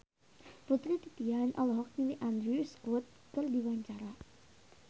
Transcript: Putri Titian olohok ningali Andrew Scott keur diwawancara